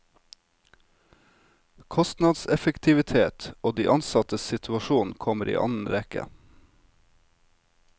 Kostnadseffektivitet og de ansattes situasjon kommer i annen rekke.